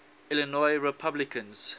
illinois republicans